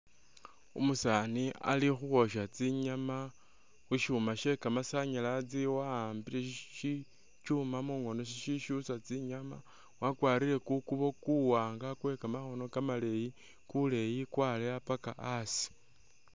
Umusaani Ali khukhwosha tsinyama khushuma she kamasanyalasi wa'ambile shitsuma mukhono shiyusa tsinyama wakwarile kukubo kuwanga kwekamakhono kamaleyi kuleyi kwaaleya paka asi